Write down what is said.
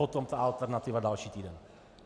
Potom ta alternativa další týden.